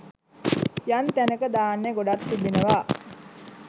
යම් තැනක ධාන්‍ය ගොඩක් තිබෙනවා.